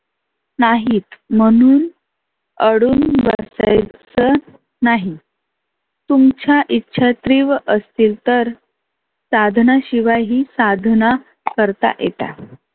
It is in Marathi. नाहीत म्हणून अडून बसायच नाही. तुमच्या इच्छा तिव्र असतील तर साधना शिवाय ही साधना करता येतात.